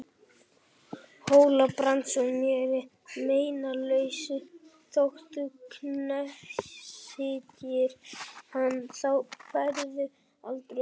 Hóla-Brands og mér að meinalausu þótt þú knésetjir hann, þá færðu aldrei öxina.